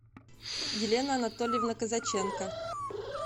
елена анатольевна казаченко